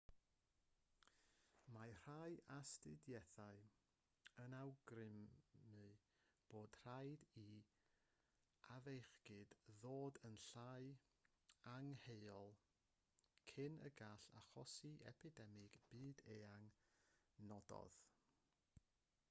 mae rhai astudiaethau yn awgrymu bod rhaid i'r afiechyd ddod yn llai angheuol cyn y gall achosi epidemig byd-eang nododd